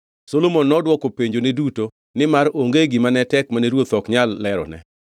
Solomon nodwoko penjone duto; nimar onge gima ne tek mane ruoth ok nyal lerone.